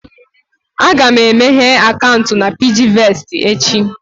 Aga m emeghe akaụntụ na PiggyVest echi